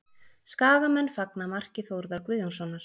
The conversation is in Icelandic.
Skagamenn fagna marki Þórðar Guðjónssonar